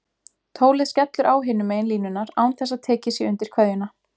Tólið skellur á hinum megin línunnar án þess að tekið sé undir kveðjuna.